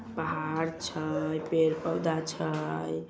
पहाड़ अच्छा है पेड़-पौधा अच्छा है।